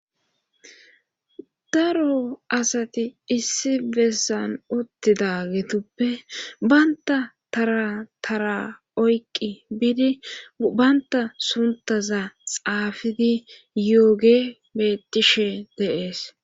daro asati issi bessan uttida getuppe baynta tatara oyqqi biidi baynta suntaza xaafidi yooge bettishe deees